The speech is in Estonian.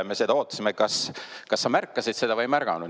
Me ootasime, kas sa märkasid seda või ei märganud.